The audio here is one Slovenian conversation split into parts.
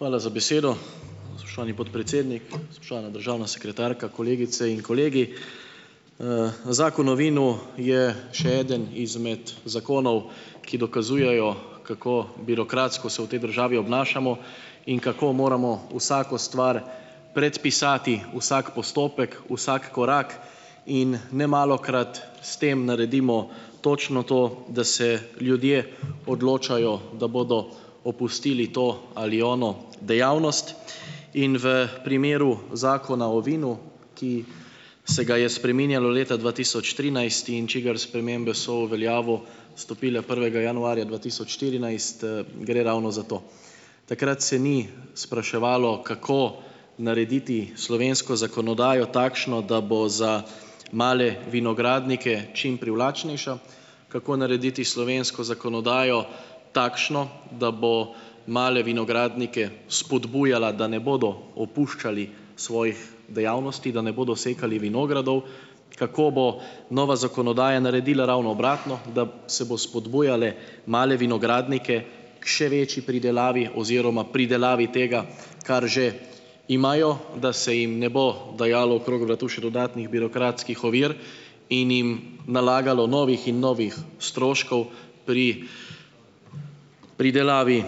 Hvala za besedo, spoštovani podpredsednik. Spoštovana državna sekretarka, kolegice in kolegi! zakon o vinu je še eden izmed zakonov, ki dokazujejo, kako birokratsko se v tej državi obnašamo in kako moramo vsako stvar predpisati, vsak postopek, vsak korak in nemalokrat s tem naredimo točno to, da se ljudje odločajo, da bodo opustili to ali ono dejavnost. In v primeru Zakona o vinu, ki se ga je spreminjalo leta dva tisoč trinajst in čigar spremembe so v veljavo stopile prvega januarja dva tisoč štirinajst, gre ravno za to. Takrat se ni spraševalo, kako narediti slovensko zakonodajo takšno, da bo za male vinogradnike čim privlačnejša, kako narediti slovensko zakonodajo takšno, da bo male vinogradnike spodbujala, da ne bodo opuščali svojih dejavnosti, da ne bodo sekali vinogradov, kako bo nova zakonodaja naredila ravno obratno, da se bo spodbujale male vinogradnike k še večji pridelavi oziroma pridelavi tega, kar že imajo, da se jim ne bo dajalo okrog vratu še dodatnih birokratskih ovir in jim nalagalo novih in novih stroškov pri pridelavi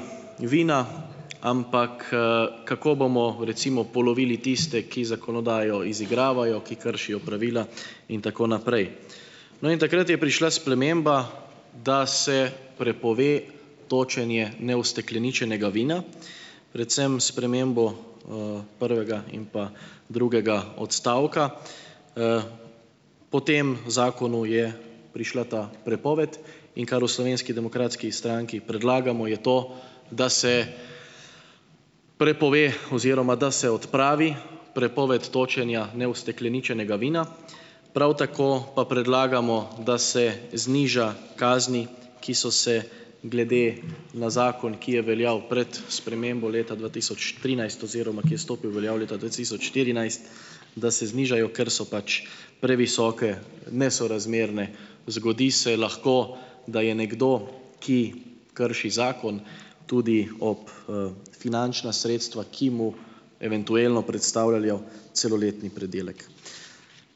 vina, ampak, kako bomo, recimo, polovili tiste, ki zakonodajo izigravajo, ki kršijo pravila in tako naprej. No, in takrat je prišla sprememba, da se prepove točenje neustekleničenega vina, predvsem s spremembo, prvega in pa drugega odstavka. Po tem zakonu je prišla ta prepoved. In kar v Slovenski demokratski stranki predlagamo je to, da se prepove oziroma da se odpravi prepoved točenja neustekleničenega vina, prav tako pa predlagamo, da se zniža kazni, ki so se glede na zakon, ki je veljal pred spremembo leta dva tisoč trinajst oziroma ki je stopil v veljavo leta dva tisoč štirinajst, da se znižajo, ker so pač previsoke, nesorazmerne. Zgodi se lahko, da je nekdo, ki krši zakon, tudi ob, finančna sredstva, ki mu eventualno predstavljajo celoletni pridelek.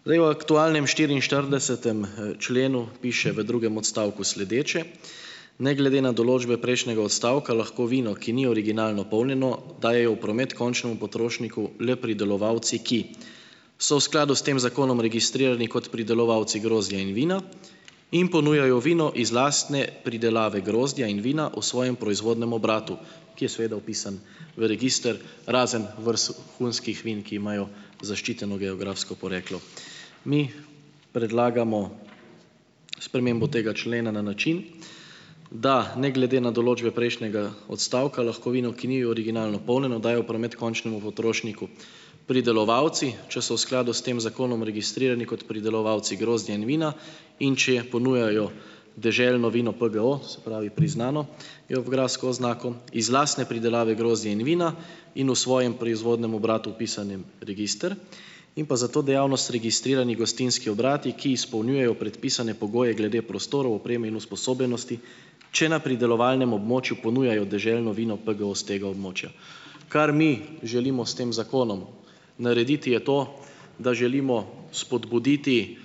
Zdaj v aktualnem štiriinštiridesetem, členu piše v drugem odstavku sledeče: "Ne glede na določbe prejšnjega odstavka lahko vino, ki ni originalno polnjeno, dajejo v promet končnemu potrošniku le pridelovalci, ki so v skladu s tem zakonom registrirani kot pridelovalci grozdja in vina in ponujajo vino iz lastne pridelave grozdja in vina v svojem proizvodnem obratu," ki je seveda vpisan v register, razen vrhunskih vin, ki imajo zaščiteno geografsko poreklo. Mi predlagamo spremembo tega člena na način, da ne glede na določbe prejšnjega odstavka lahko vino, ki ni originalno polnjeno, dajo v promet končnemu potrošniku. Pridelovalci, če so v skladu s tem zakonom registrirani kot pridelovalci grozdja in vina in če ponujajo deželno vino PGO, se pravi priznano geografsko oznako, iz lastne pridelave grozdja in vina in v svojem proizvodnem obratu, vpisanim register, in pa za to dejavnost registrirani gostinski obrati, ki izpolnjujejo predpisane pogoje glede prostorov, opreme in usposobljenosti, če na pridelovalnem območju ponujajo deželno vino PGO s tega območja. Kar mi želimo s tem zakonom narediti, je to, da želimo spodbuditi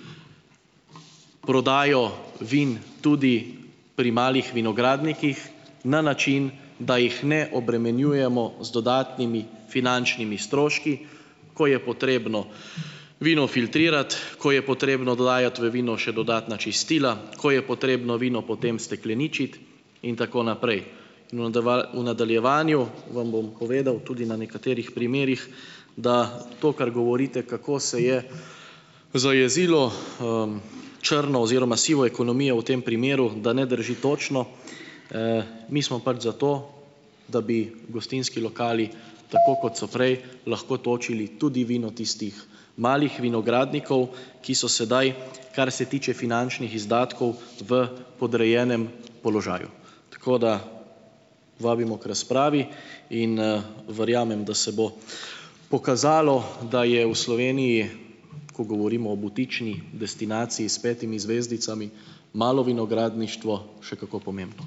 prodajo vin tudi pri malih vinogradnikih na način, da jih ne obremenjujemo z dodatnimi finančnimi stroški, ko je potrebno vino filtrirati, ko je potrebno dodajati v vino še dodatna čistila, ko je potrebno vino potem stekleničiti in tako naprej. V v nadaljevanju vam bom povedal tudi na nekaterih primerih, da to, kar govorite, kako se je zajezilo, črno oziroma sivo ekonomijo v tem primeru, da ne drži točno. mi smo pač za to, da bi gostinski lokali, tako kot so prej, lahko točili tudi vino tistih malih vinogradnikov, ki so sedaj, kar se tiče finančnih izdatkov v podrejenem položaju, tako da vabimo k razpravi in verjamem, da se bo pokazalo, da je v Sloveniji, ko govorimo o butični destinaciji s petimi zvezdicami, malo vinogradništvo še kako pomembno.